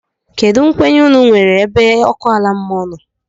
Kedu nkwenye unu nwéré ebe ọkụ ala mmụọ nọ?